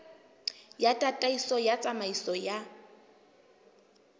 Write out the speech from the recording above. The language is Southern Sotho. ya tataiso ya tsamaiso ya